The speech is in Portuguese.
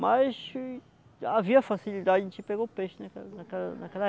Mas havia facilidade, a gente pegou o peixe naquela naquela naquela